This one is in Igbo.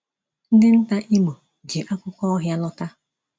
Ndị nta Imo ji akụkọ ọhịa lọta.